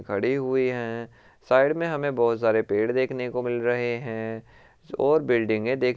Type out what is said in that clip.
खड़े हुए हैं साइड में हमें बहुत सारे पेड़ देखने को मिल रहे हैं और बिल्डिंगे देख --